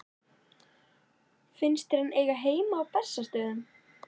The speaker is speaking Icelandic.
Finnst þér hann eiga heima á Bessastöðum?